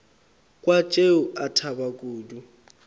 kwa tšeo a thaba kudu